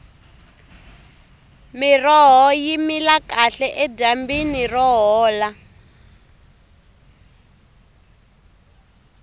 miroho yi mila kahle edyambini ro hola